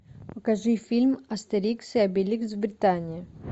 покажи фильм астерикс и обеликс в британии